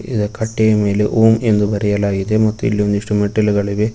ಇದ್ ಕಟ್ಟೆಯ ಮೇಲೆ ಓಂ ಎಂದು ಬರೆಯಲಾಗಿದೆ ಮತ್ತು ಇಲ್ಲಿ ಒಂದಿಷ್ಟು ಮೆಟ್ಟಿಲುಗಳಿವೆ.